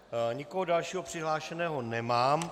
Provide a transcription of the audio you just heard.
Nikoho dalšího přihlášeného nemám.